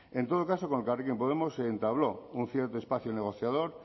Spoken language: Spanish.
en todo caso con elkarrekin podemos se entabló un cierto espacio negociador